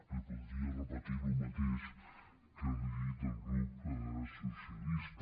li podria repetir el mateix que li he dit al grup socialista